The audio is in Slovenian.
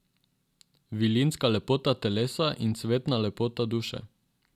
Vilinska lepota telesa in cvetna lepota duše.